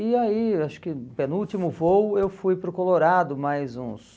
E aí, acho que penúltimo voo, eu fui para o Colorado mais uns...